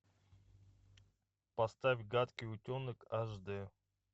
поставь гадкий утенок аш д